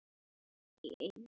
Ekkert mál, Anna mín.